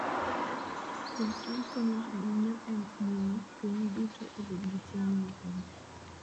Pidh cham konyo ahinya e miyo piny duto obed gi chiemo moromo.